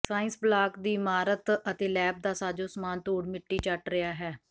science block ਦੀ ਇਮਾਰਤ ਅਤੇ ਲੈੱਬ ਦਾ ਸਾਜ਼ੋ ਸਾਮਾਨ ਧੂੜ ਮਿੱਟੀ ਚੱਟ ਰਿਹਾ ਹੈ